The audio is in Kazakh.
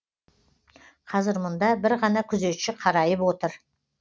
қазір мұнда бір ғана күзетші қарайып отыр